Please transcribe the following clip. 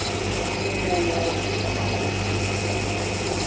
kuwo wonke amahhovisi